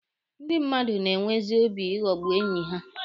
Ndị mmadụ na-enwezi obi ịghọgbu enyi ha.